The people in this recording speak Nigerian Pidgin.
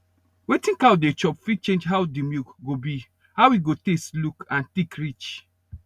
wetin cow dey chop fit change how the milk go be how e go taste look and thick reach